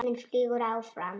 Tíminn flýgur áfram.